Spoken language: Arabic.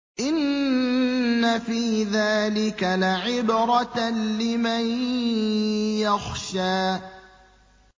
إِنَّ فِي ذَٰلِكَ لَعِبْرَةً لِّمَن يَخْشَىٰ